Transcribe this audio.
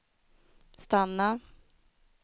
stanna